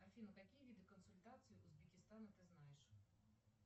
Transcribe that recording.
афина какие виды консультаций узбекистана ты знаешь